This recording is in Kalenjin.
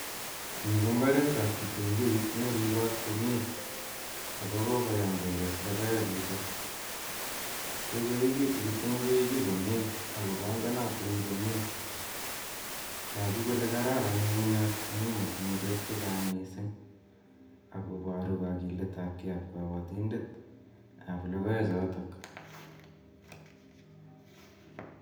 Ni ko mbaretab kitunguik ne ripot komie, ako kokoyam kekes logoechuto, kokoekitu kitunguichu komie ak kobongonotin komie, toku kole kararan ng'ung'unyat amu motinye beek chechang mising ak koboru kagiletabkei ab kabatindetab logoechotok.